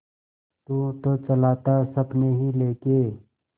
तू तो चला था सपने ही लेके